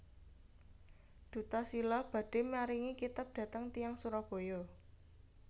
Duta Shila badhe maringi kitab dhateng tiyang Surabaya